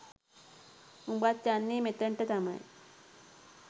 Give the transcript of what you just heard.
උබත් යන්නේ මෙතනට තමයි